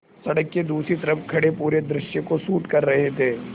सड़क के दूसरी तरफ़ खड़े पूरे दृश्य को शूट कर रहे थे